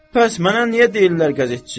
Bəs mənə niyə deyirlər qəzetçi?